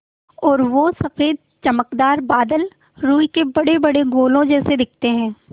और वो सफ़ेद चमकदार बादल रूई के बड़ेबड़े गोलों जैसे दिखते हैं